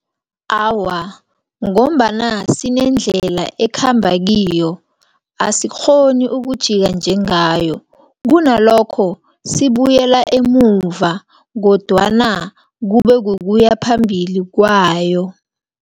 Awa, ngombana sinendlela ekhamba kiyo, asikghoni ukujika njengayo, kunalokho sibuyela emuva, kodwana kubekukuya phambili kwayo.